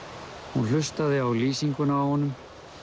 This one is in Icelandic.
hún hlustaði á lýsinguna á honum